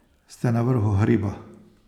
Ste na vrhu hriba.